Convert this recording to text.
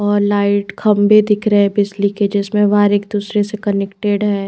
और लाइट खंबे दिख रहे है बिजली के जिसमे वायर एक दूसरे से कनेक्टेड है।